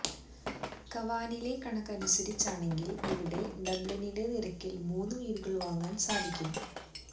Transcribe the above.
കാവാനിലെ കണക്ക് അനുസരിച്ചാണെങ്കിൽ ഇവിടെ ഡബ്ലിനിലെ നിരക്കിൽ മൂന്നു വീടുകൾ വാങ്ങാൻ സാധിക്കും